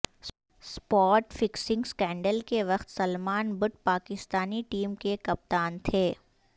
spot fixing scandal کے وقت Salman Butt Pakistani team کے کپتان تھے